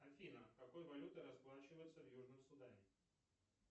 афина какой валютой расплачиваются в южном судане